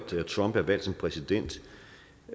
trump er valgt som præsident